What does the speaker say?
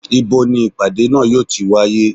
ibo ní ìpàdé náà yóò ti wáyé?